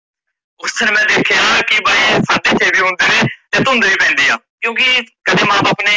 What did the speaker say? ਉੱਠਣ ਵੇਲੇ ਦੇਖਿਆ ਕੀ ਬਈ ਸਾਡੇ ਛੇ ਵੀ ਹੁੰਦੇ ਨੇ ਤੇ ਧੁੰਦ ਵੀ ਪੈਂਦੀ ਆ, ਕਿਉਕਿ ਕਦੇ ਮਾਂ ਬਾਪ ਨੇ